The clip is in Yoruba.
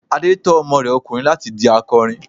Adé tọ́ ọmọ rẹ ọkùnrin láti di akọrin.